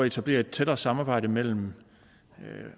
etablere et tættere samarbejde mellem